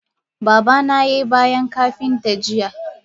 Babana yai bayan Kapinta jiya.